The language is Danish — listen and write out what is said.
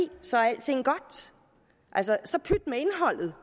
så er alting godt så pyt med indholdet